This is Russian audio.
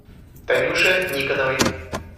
танюше никоновой